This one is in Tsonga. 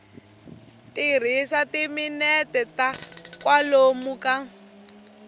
tirhisa timinete ta kwalomu ka